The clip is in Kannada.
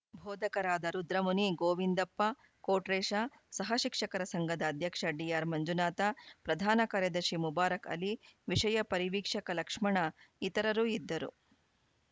ಬೋಧಕರಾದ ರುದ್ರಮುನಿ ಗೋವಿಂದಪ್ಪ ಕೊಟ್ರೇಶ ಸಹ ಶಿಕ್ಷಕರ ಸಂಘದ ಅಧ್ಯಕ್ಷ ಡಿಆರ್‌ಮಂಜುನಾಥ ಪ್ರಧಾನ ಕಾರ್ಯದರ್ಶಿ ಮುಬಾರಕ್‌ ಅಲಿ ವಿಷಯ ಪರಿವೀಕ್ಷಕ ಲಕ್ಷ್ಮಣ ಇತರರು ಇದ್ದರು